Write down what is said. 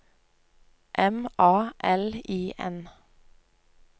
M A L I N